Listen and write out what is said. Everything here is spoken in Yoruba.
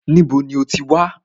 Níbo ní o ti wá?